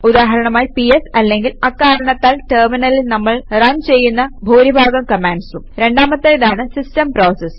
ഉദാഹരണമായി പിഎസ് അല്ലെങ്കിൽ അക്കാരണത്താൽ ടെര്മിനലിൽ നമ്മൾ റൺ ചെയ്യുന്ന ഭൂരിഭാഗം കമാൻഡ്സും രണ്ടാമത്തേതാണ് സിസ്റ്റം പ്രോസസസ്